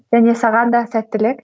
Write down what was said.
және саған да сәттілік